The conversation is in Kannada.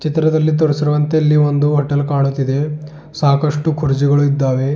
ಚಿತ್ರದಲ್ಲಿ ತೋರಿಸಿರುವಂತೆ ಇಲ್ಲಿ ಒಂದು ಹೋಟೆಲ್ ಕಾಣುತಿದೆ ಸಾಕಷ್ಟು ಕುರ್ಜಿಗಳು ಇದ್ದಾವೆ.